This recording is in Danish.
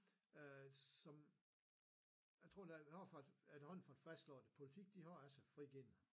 Øh som jeg tror der vi har faktisk efterhånden fået fastslået det politiet de har altså frigivet den